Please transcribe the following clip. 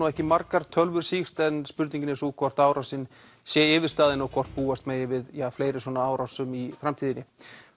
ekki margar tölvur hafa sýkst en spurningin er sú hvort árásin sé yfirstaðin og hvort búast megi við fleiri svona árásum í framtíðinni